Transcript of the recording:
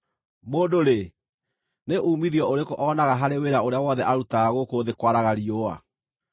Mũndũ-rĩ, nĩ uumithio ũrĩkũ onaga harĩ wĩra ũrĩa wothe arutaga gũkũ thĩ kwaraga riũa?